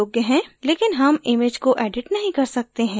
लेकिन हम image को edit नहीं कर सकते हैं